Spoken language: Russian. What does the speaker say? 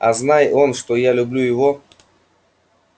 а знай он что я люблю его